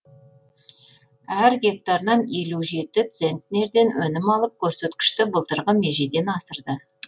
әр гектарынан елу жеті центнерден өнім алып көрсеткішті былтырғы межеден асырды